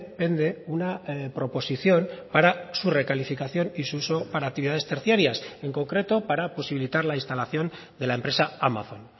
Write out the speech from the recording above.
pende una proposición para su recalificación y su uso para actividades terciarias en concreto para posibilitar la instalación de la empresa amazon